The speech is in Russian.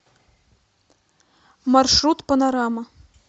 маршрут панорама